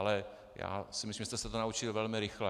Ale já si myslím, že jste se to naučili velmi rychle.